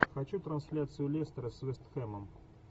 хочу трансляцию лестера с вест хэмом